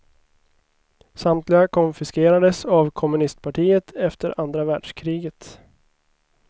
Samtliga konfiskerades av kommunistpartiet efter andra världskriget.